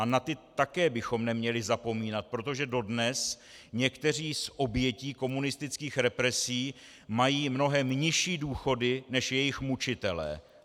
A na ty také bychom neměli zapomínat, protože dodnes některé z obětí komunistických represí mají mnohem nižší důchody než jejich mučitelé.